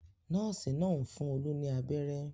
Nọ́ọ́sì náà ń fún Olú ní abẹ́rẹ́.